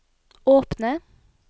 åpne